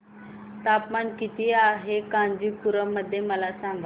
तापमान किती आहे कांचीपुरम मध्ये मला सांगा